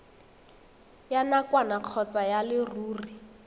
ya nakwana kgotsa ya leruri